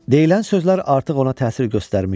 Deyilən sözlər artıq ona təsir göstərmişdi.